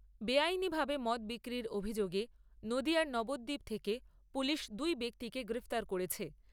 বেআইনিভাবে মদ বিক্রির অভিযোগে নদীয়ার নবদ্বীপ থেকে পুলিশ দুই ব্যক্তিকে গ্রেপ্তার করেছে।